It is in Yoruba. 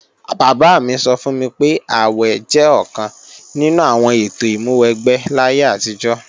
Bàbá mi sọ fún mi pé, àwè jẹ́ ọ̀kan nínú àwọn ètò ìmúwẹgbẹ́ láyé àtijọ́